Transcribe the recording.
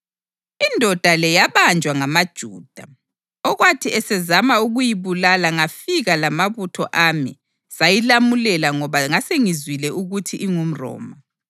Indoda le yabanjwa ngamaJuda, okwathi esezama ukuyibulala ngafika lamabutho ami sayilamulela ngoba ngasengizwile ukuthi ingumRoma.